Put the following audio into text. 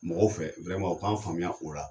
Mɔgɔw fɛ u k'an faamuya o la.